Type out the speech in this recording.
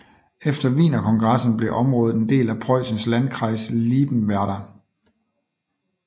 Efter Wienerkongressen blev området en del af Preussen Landkreis Liebenwerda